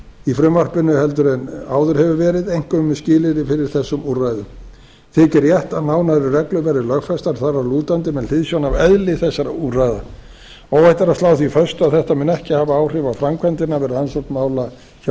í frumvarpinu heldur en áður hefur verið einkum skilyrði fyrir þessum úrræðum þykir rétt að nánari reglur verði lögfestar þar að lútandi með hliðsjón af eðli þessara úrræða óhætt er að slá því föstu að þetta muni ekki hafa áhrif á framkvæmdina við rannsókn mála hjá